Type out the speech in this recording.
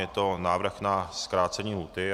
Je to návrh na zkrácení lhůty.